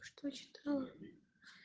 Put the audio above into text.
что читала